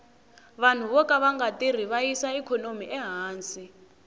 vanhu voka vanga tirhi va yisa ikhonomi ehansi